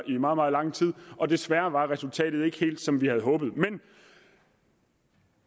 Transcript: i meget meget lang tid og desværre var resultatet ikke helt som vi havde håbet men